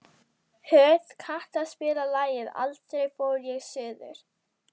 Hödd, kanntu að spila lagið „Aldrei fór ég suður“?